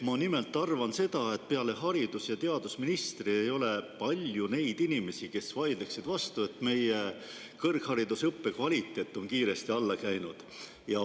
Ma nimelt arvan seda, et peale haridus‑ ja teadusministri ei ole palju neid inimesi, kes vaidleksid vastu, et meie kõrgharidusõppe kvaliteet on kiiresti alla käinud.